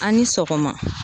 A' ni sɔgɔma